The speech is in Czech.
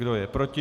Kdo je proti?